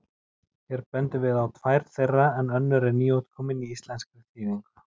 Hér bendum við á tvær þeirra en önnur er nýútkomin í íslenskri þýðingu.